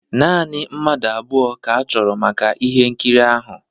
Naanị mmadụ abụọ ka-achọ maka ihe nkiri ahụ